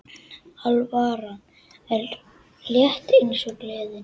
Alvaran er létt eins og gleðin.